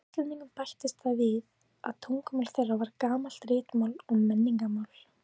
Hjá Íslendingum bættist það við að tungumál þeirra var gamalt ritmál og menningarmál.